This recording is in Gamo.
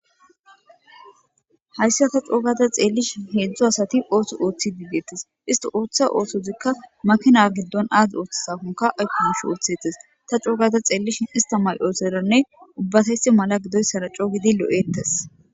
hayssa ta coogata xeellishi heedzdzu asati ootho ooththi diigeettes isti ooththa oosozikka makina giddon aazi ooththasakonka aykonsh ooththetes ta coogata xeellishin ista may7ooteranne ubbatesi mala gidoy saraco gidi lo7ettes